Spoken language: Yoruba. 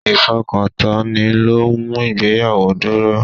Ifokantoni lo ń mú ìgbéyàwó dúró.